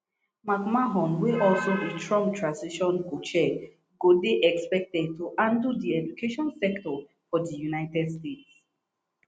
mcmahon wey also be trump transition cochair go dey expected to handle di education sector for di united states